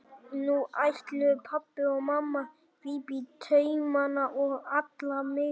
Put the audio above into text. Nú ætluðu pabbi og mamma að grípa í taumana og ala mig upp.